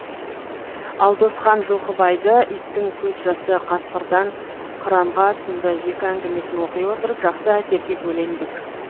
ал досхан жылқыбайды иттің көзжасы қасқырдан қыранға сынды екі әңгімесін оқи отырып жақсы әсерге бөлендік